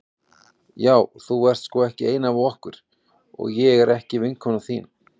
Já þú ert sko ekki ein af okkur og ég er ekki vinkona þín.